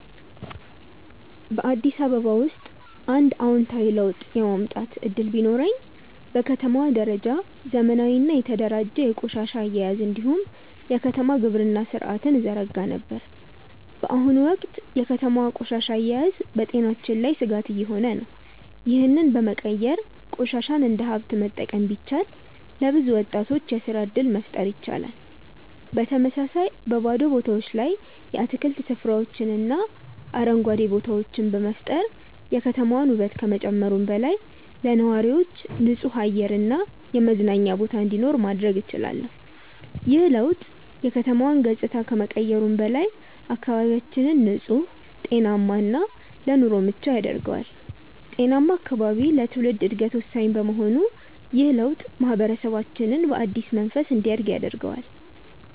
በአዲስ አበባ ውስጥ አንድ አዎንታዊ ለውጥ የማምጣት እድል ቢኖረኝ፣ በከተማዋ ደረጃ ዘመናዊና የተደራጀ የቆሻሻ አያያዝ እንዲሁም የከተማ ግብርና ሥርዓትን እዘረጋ ነበር። በአሁኑ ወቅት የከተማዋ ቆሻሻ አያያዝ በጤናችን ላይ ስጋት እየሆነ ነው፤ ይህንን በመቀየር ቆሻሻን እንደ ሀብት መጠቀም ቢቻል፣ ለብዙ ወጣቶች የስራ እድል መፍጠር ይቻላል። በተመሳሳይ፣ በባዶ ቦታዎች ላይ የአትክልት ስፍራዎችንና አረንጓዴ ቦታዎችን በመፍጠር የከተማዋን ውበት ከመጨመሩም በላይ፣ ለነዋሪዎች ንጹህ አየር እና የመዝናኛ ቦታ እንዲኖር ማድረግ እችላለሁ። ይህ ለውጥ የከተማዋን ገጽታ ከመቀየሩም በላይ፣ አካባቢያችንን ንጹህ፣ ጤናማ እና ለኑሮ ምቹ ያደርገዋል። ጤናማ አካባቢ ለትውልድ ዕድገት ወሳኝ በመሆኑ ይህ ለውጥ ማህበረሰባችንን በአዲስ መንፈስ እንዲያድግ ያደርገዋል።